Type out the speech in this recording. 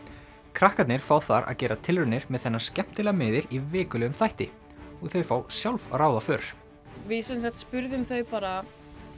krakkarnir fá þar að gera tilraunir með þennan skemmtilega miðil í vikulegum þætti og þau fá sjálf að ráða för við sem sagt spurðum þau bara